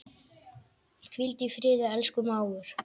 Hvíldu í friði, elsku mágur.